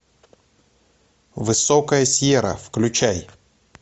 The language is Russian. высокая сьерра включай